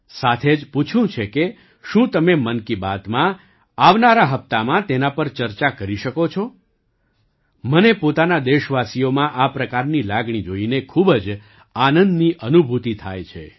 સાથે જ પૂછ્યું છે કે શું તમે મન કી બાતમાં આવનારા હપ્તામાં તેના પર ચર્ચા કરી શકો છો મને પોતાના દેશવાસીઓમાં આ પ્રકારની લાગણી જોઈને ખૂબ જ આનંદની અનુભૂતિ થાય છે